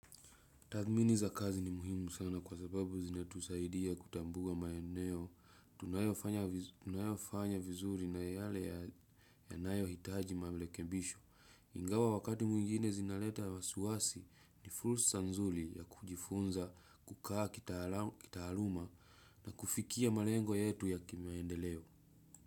Tathmini za kazi ni muhimu sana kwa sababu zina tusaidia kutambua maeneo, unayofanya vizuri na yale yanayoitaji marekebisho ingawa wakati mwingine zinaleta wasiwasi ni fursa nzuri ya kujifunza kukaa kitaaluma na kufikia malengo yetu ya kimaendeleo.